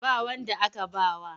Ba wanda aka ba wa.